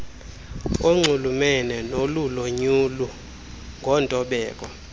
onxulumene nolulonyulo ngontobeko